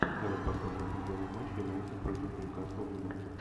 давай посмотрим футбольный матч юнайтед против нью касл юнайтед